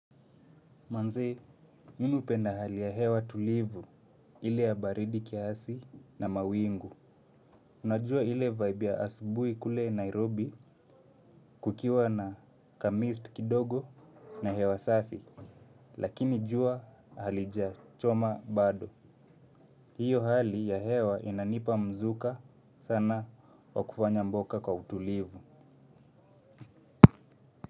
Manze, mimi hupenda hali ya hewa tulivu ile ya baridi kiasi na mawingu. Unajua hile vibe ya asubuhi kule Nairobi kukiwa na kamist kidogo na hewa safi. Lakini jua halijachoma bado. Hiyo hali ya hewa inanipa mzuka sana wa kufanya mboka kwa utulivu.